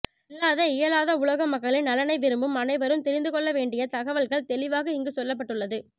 இல்லாத இயலாத உலக மக்களின் நலனை விரும்பும் அனைவரும் தெரிந்து கொள்ளவேண்டிய தகவல்கள் தெளிவாக இங்கு சொல்லப் பட்டுள்ளது